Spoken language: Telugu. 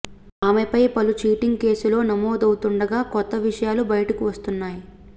ఆమెపై పలు చీటింగ్ కేసులో నమోదవుతుండగా కొత్త విషయాలు బయటకు వస్తున్నాయి